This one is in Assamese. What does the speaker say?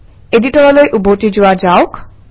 এডিটৰলৈ উভতি যোৱা যাওক